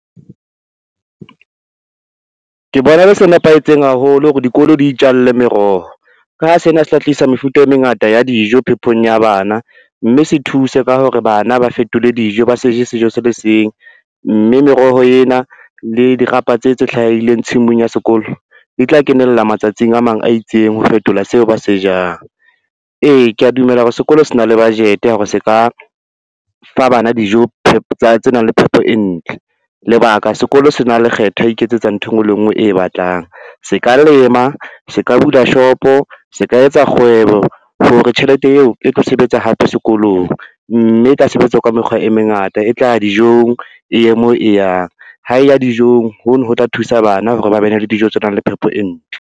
Ke bona e le se nepahetseng haholo hore dikolo di itjalle meroho, ka ho sena se tla tlisa mefuta e mengata ya dijo phepong ya bana, mme se thuse ka hore bana ba fetole dijo ba sejo sejo se le seng, mme meroho ena le dirapa tse tse hlahileng tshimong ya sekolo di tla kenella matsatsing a mang a itseng ho fetola seo ba se jang. Ee kea dumela hore sekolo se na le budget ya hore se ka fa bana dijo tse nang le phepo e ntle. Lebaka, sekolo sena lekgetho ya ho iketsetsa ntho e ngwe le e ngwe e batlang, se ka lema, se ka bula shopo, se ka etsa kgwebo hore tjhelete eo e tlo sebetsa hape sekolong, mme e tla sebetsa ka mekgwa e mengata e tla dijong, e ye moo e yang ha e ya dijong, hono ho tla thusa bana hore ba bene le dijo tse nang le phepo e ntle.